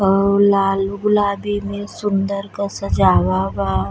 और लाल गुलाबी में सुंदर का सजावा बा।